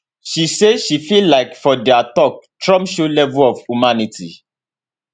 she say she feel like for dia tok trump show level of humanity